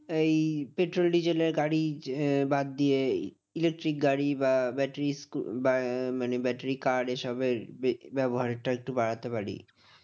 এই পেট্রল ডিজেলে গাড়ি বাদ দিয়ে electric গাড়ি বা ব্যাটারি মানে ব্যাটারি car এসবের ব্য ব্যবহারের টা একটু বাড়াতে পারি।